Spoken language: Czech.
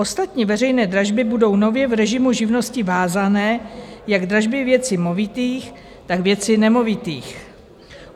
Ostatní veřejné dražby budou nově v režimu živnosti vázané jak dražby věci movitých, tak věci nemovitých.